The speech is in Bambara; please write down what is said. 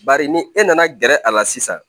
Bari ni e nana gɛrɛ a la sisan